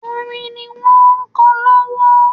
Orin ni wọ́n ń kọ lọ́wọ́